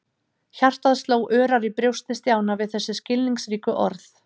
Hjartað sló örar í brjósti Stjána við þessi skilningsríku orð.